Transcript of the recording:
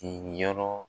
Yenyɔrɔ